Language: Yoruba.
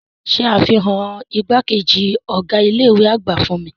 Ṣe afihan igbakeji ọga ile-iwe agba fun mi!